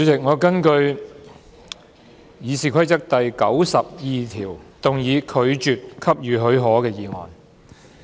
主席，我根據《議事規則》第902條，動議拒絕給予許可的議案。